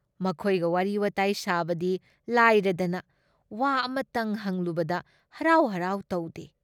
ꯃꯈꯣꯏꯒ ꯋꯥꯔꯤ ꯋꯥꯇꯥꯏ ꯁꯥꯕꯗꯤ ꯂꯥꯏꯔꯗꯅ ꯋꯥ ꯑꯃꯇꯪ ꯍꯪꯂꯨꯕꯗ ꯍꯔꯥꯎ ꯍꯔꯥꯎ ꯇꯧꯗꯦ ꯫